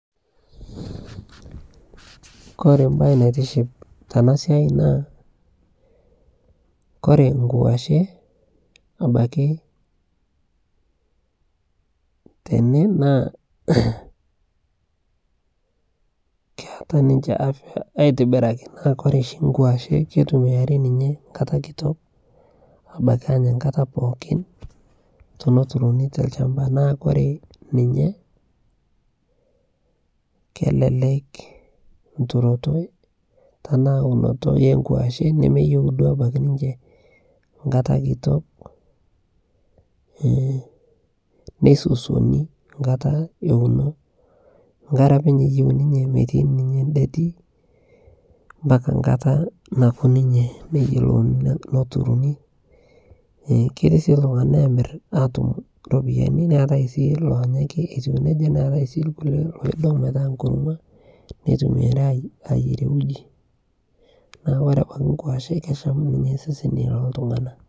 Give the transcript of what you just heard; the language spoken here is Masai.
kore mbai naitiship tanaa siai naa kore nguashee abakii tenee naa keataa ninshee afyaa aitibirakii naa kore shi nkuasheee keitumiarii ninshee nkataa kitok abakii anyaa nkataa pookin tonoturinii te lshampaa naa kore ninshee kelelek nturotoo tanaa unotoo ee nkuashee nemeyeu abakii duo ninshee nkataa kitok neisosionii nkataa eunoo nkaree apeny eyeu ninchee meitainii ninyee ndetiii mpakaa nkataa nakuu ninyee neyolounii noturunii ketii sii ltungana emir atum ropiyanii neatai sii lonyaa ake etuu nejaa neatai sii nkulie loidong metaa nkurumua neitumiariii ayerie ujii. Naa kore abaki nkuashee kesham ninyee seseni loltunganaa.